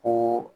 Ko